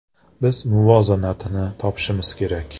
“Biz muvozanatni topishimiz kerak.